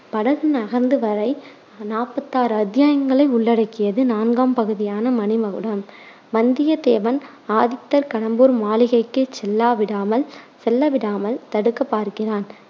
படகு நகர்ந்து வரை நாப்பத்தாறு அத்தியாயங்களை உள்ளடக்கியது நான்காம் பகுதியான மணிமகுடம். வந்தியத்தேவன், ஆதித்தர் கடம்பூர் மாளிகைக்கு செல்லா விடாமல் செல்ல விடாமல் தடுக்கப் பார்க்கிறான்.